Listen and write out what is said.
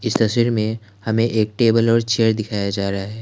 तस्वीर में हमें एक टेबल और चेयर दिखाया जा रहा है।